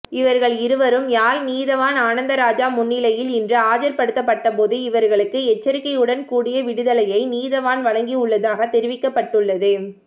இவர்கள் இருவரும் யாழ் நீதவான் ஆனந்தராஜா முன்னிலையில் இன்று ஆஜர்படுத்தப்பட்டபோது இவர்களுக்கு எச்சரிக்கையுடன் கூடிய விடுதலையை நீதவான் வழங்கியுள்ளதாக தெரிவிக்கப்பட்டுள்ளது